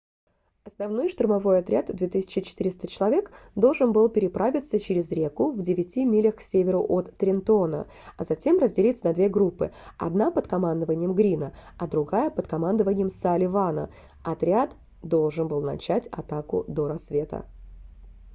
основной штурмовой отряд в 2400 человек должен был переправиться через реку в девяти милях к северу от трентона а затем разделиться на две группы одна под командованием грина а другая под командованием салливана отряд должен был начать атаку до рассвета